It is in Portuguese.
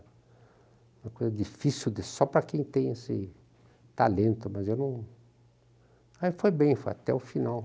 Uma coisa difícil só para quem tem esse talento, mas eu não... Aí foi bem, foi até o final.